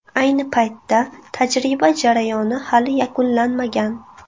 Ayni paytda tajriba jarayoni hali yakunlanmagan.